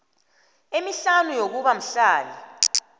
emihlanu yokuba mhlali